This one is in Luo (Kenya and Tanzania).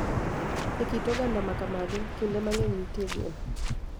E kit oganda ma kamago, kinde mang�eny nitie geno .